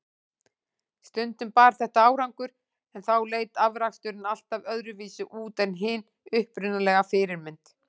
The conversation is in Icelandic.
Stundum bar þetta árangur, en þá leit afraksturinn alltaf öðruvísi út en hin upprunalega fyrirmynd.